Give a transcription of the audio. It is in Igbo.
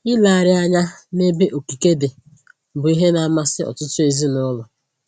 Ilegharị anya nebe okike dị bụ ihe na-amasị ọtụtụ ezinụlọ